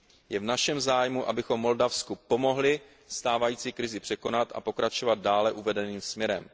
Je v našem zájmu, abychom Moldavsku pomohli stávající krizi překonat a pokračovat dále uvedeným směrem.